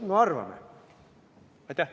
No arvame!